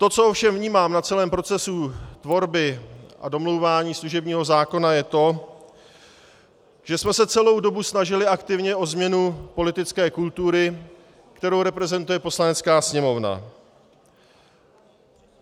To, co ovšem vnímám na celém procesu tvorby a domlouvání služebního zákona, je to, že jsme se celou dobu snažili aktivně o změnu politické kultury, kterou reprezentuje Poslanecká sněmovna.